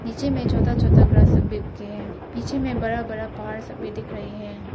नीचे में छोटा छोटा ग्रास सब भी उग के है। पीछे में बड़ा बड़ा पहाड़ सब भी दिख रहे है।